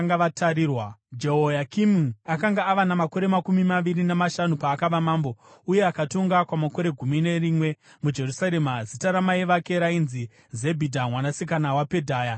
Jehoyakimi akanga ava namakore makumi maviri namashanu paakava mambo, uye akatonga kwamakore gumi nerimwe muJerusarema. Zita ramai vake rainzi Zebhidha mwanasikana waPedhaya; vaibva kuRuma.